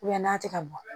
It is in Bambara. n'a tɛ ka bɔ